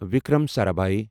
Vikram Sarabhai